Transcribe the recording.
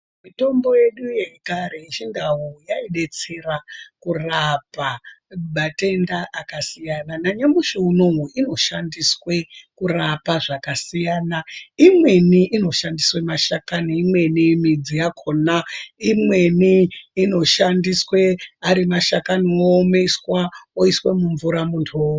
Mitombo yedu yekare yechindau, yaidetsera kurapa matenda akasiyana. Nanyamushi unowu, inoshandiswe kurapa zvakasiyana. Imweni inoshandiswe mashakani, imweni midzi yakhona, imweni inoshandiswe ari mashakani oomeswa ,oiswe mumvura muntu omwa.